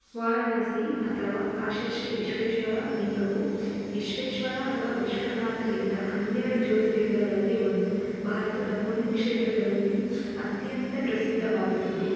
ವಾರಣಾಸಿ ಅಥವಾ ಕಾಶಿ ಶ್ರೀ ವಿಶ್ವೇಶ್ವರ ಲಿಂಗವು ವಿಶ್ವೇಶ್ವರ ಅಥವಾ ವಿಶ್ವನಾಥ ಲಿಂಗ ಹನ್ನೆರಡು ಜ್ಯೋತಿರ್ಲಿಂಗಳಲ್ಲಿ ಒಂದು ಭಾರತದ ಪುಣ್ಯ ಕ್ಷೇತ್ರಗಳಲ್ಲಿ ಅತ್ಯಂತ ಪ್ರಸಿದ್ಧವಾದದ್ದು.